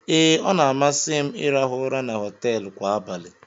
Ee, ọ na-amasị m ịrahụ ụra na họteelụ kwa abalị